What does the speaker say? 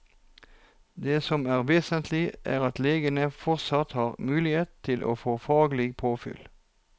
Det som er vesentlig, er at legene fortsatt har mulighet til å få faglig påfyll.